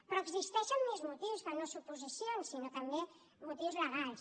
però existeixen més motius que no suposicions sinó també motius legals